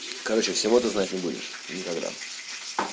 короче всего ты знать не будешь никогда